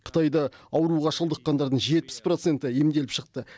қытайда ауруға шалдыққандардың жетпіс проценті емделіп шықты